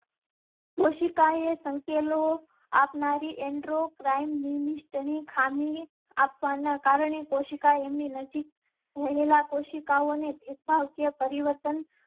કોશિકા એ સંકેલો આપનારી એન્ડ્રો ક્રાઇમ મિનિસ્ટ્રી ખામી આપવા ના કારણે કોશિકા એમ ની નજીક રહેલા કોશિકાઓ ને ભેદભાવ કે પરિવર્તન